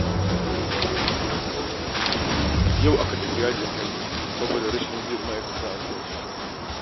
Yau aka tafi yajin aiki saboda rashin biyan ma'aikata albashi